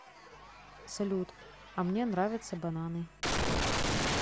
салют а мне нравятся бананы